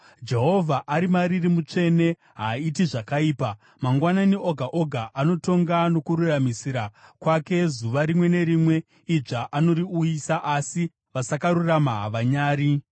Jehovha ari mariri mutsvene; haaiti zvakaipa. Mangwanani oga oga anotonga nokururamisira kwake, zuva rimwe nerimwe idzva anoriuyisa, asi vasakarurama havanyari.